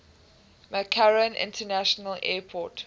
mccarran international airport